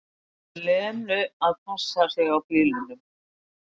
Lenu að passa sig á bílunum.